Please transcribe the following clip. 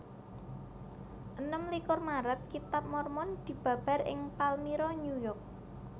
Enem likur Maret Kitab Mormon dibabar ing Palmyra New York